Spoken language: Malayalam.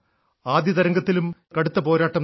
ആദ്യ തരംഗത്തിലും ഞങ്ങൾ കടുത്ത പോരാട്ടം നടത്തി